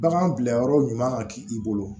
Bagan bila yɔrɔ ɲuman ka k'i bolo